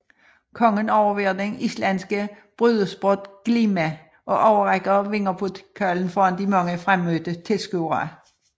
Kongen overværer den islandske brydesport glima og overrækker vinderpokalen foran de mange fremmødte tilskuere